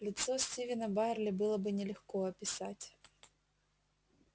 лицо стивена байерли было бы нелегко описать